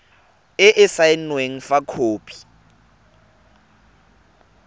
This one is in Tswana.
e e saenweng fa khopi